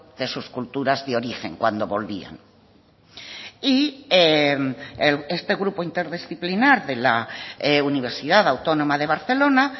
de sus culturas de origen cuando volvían y este grupo interdisciplinar de la universidad autónoma de barcelona